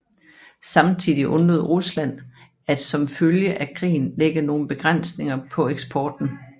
Samtidig undlod Rusland at som følge af krigen lægge nogen begrænsninger på eksporten